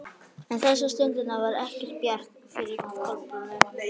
En þessa stundina var ekki bjart yfir Kolbrúnu.